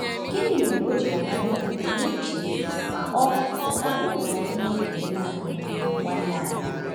Gịnị mere o ji ghara ịdị pụrụ iche ma ọ ọ bụrụ na anyị na-ekele naanị “nwanne anyị”?